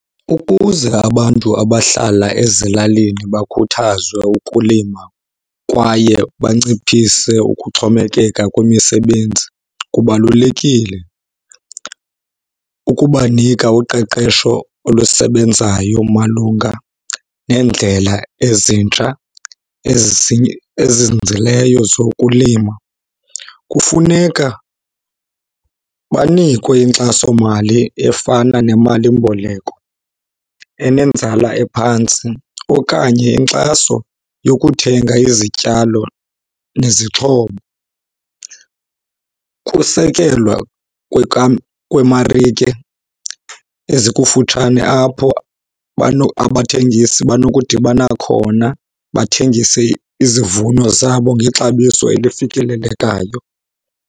Ukuze abantu abahlala ezilalini bakhuthazwe ukulima kwaye banciphise ukuxhomekeka kwimisebenzi, kubalulekile ukubanika uqeqesho olusebenzayo malunga neendlela ezintsha ezizinzileyo zokulima. Kufuneka banikwe inkxasomali efana nemalimboleko enenzala ephantsi okanye inkxaso yokuthenga izityalo nezixhobo. Ukusekelwa kweemarike ezikufutshane apho abathengisi banokudibana khona bathengise izivuno zabo ngexabiso elifikelelekayo.